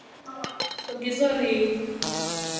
Nadía, ekki fórstu með þeim?